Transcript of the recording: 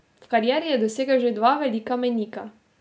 V karieri je dosegel že dva velika mejnika.